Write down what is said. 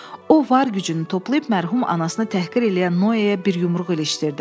O var gücünü toplayıb mərhum anasını təhqir eləyən Noyeyə bir yumruq ilişdirdi.